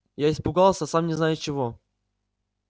я испугался сам не зная чего